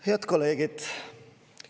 Head kolleegid!